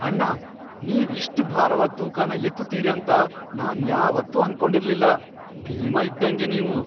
ಅಣ್ಣ! ನೀವ್ ಇಷ್ಟ್ ಭಾರವಾದ್ ತೂಕನ ಎತ್ತುತೀರಿ ಅಂತ ನಾನ್ ಯಾವತ್ತೂ ಅನ್ಕೊಂಡಿರ್ಲಿಲ್ಲ, ಭೀಮ ಇದ್ದಂಗೆ ನೀವು!!